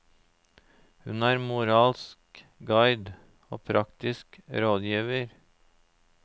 Hun er moralsk guide og praktisk rådgiver.